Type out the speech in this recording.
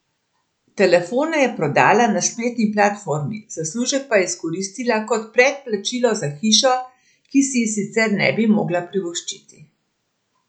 Telefone je prodala na spletni platformi, zaslužek pa je izkoristila kot predplačilo za hišo, ki si je sicer ne bi mogla privoščiti.